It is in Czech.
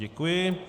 Děkuji.